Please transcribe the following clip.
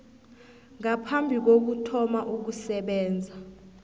ngaphambi kokuthoma ukusebenza